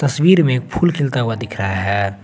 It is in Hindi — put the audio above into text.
तस्वीर में फूल खिलता हुआ दिख रहा है।